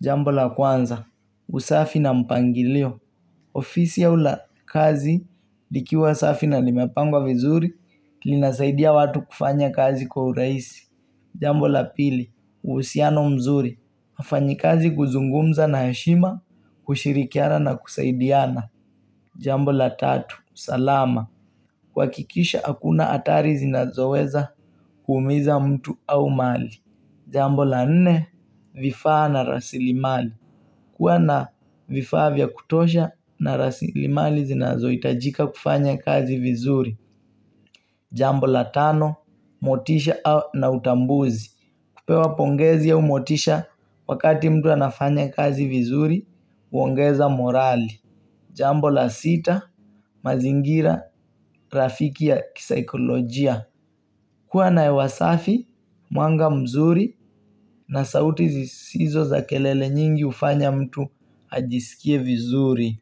Jambo la kwanza, usafi na mpangilio. Ofisi ya ula kazi, dikiwa usafi na limepangwa vizuri, lina saidia watu kufanya kazi kwa uraisi. Jambo la pili, usiano mzuri. Afanyi kazi kuzungumza na heshima, kushirikiana na kusaidiana. Jambo la tatu, salama. Kwa kikisha akuna atari zinazoweza kuumiza mtu au mali Jambo la nne vifaa na rasili mali kuwa na vifaa vya kutosha na rasili mali zinazowe itajika kufanya kazi vizuri Jambo la tano motisha na utambuzi kupewa pongezi au motisha wakati mtu anafanya kazi vizuri uongeza morali Jambo la sita mazingira rafiki ya kisaikolojia kuwa na ewa safi, mwanga mzuri na sauti zisizo za kelele nyingi ufanya mtu ajisikie vizuri.